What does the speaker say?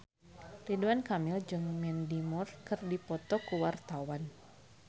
Ridwan Kamil jeung Mandy Moore keur dipoto ku wartawan